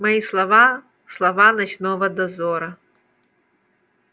мои слова слова ночного дозора